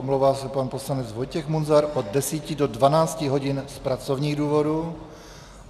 Omlouvá se pan poslanec Vojtěch Munzar od 10 do 12 hodin z pracovních důvodů.